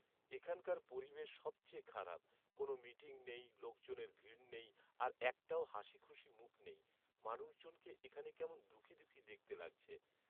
এখানকার পরিবেশ সবচেয়ে খারাপ, কোন মিটিং নেই, লোকজনের ভিড় নেই আর একটাও হাসিখুশি মুখ নেই। মানুষজনকে এখানে কেমন দুখী দুখী দেখতে লাগছে।